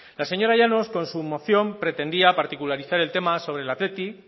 la señora llanos con su moción pretendía particularizar el tema sobre el athletic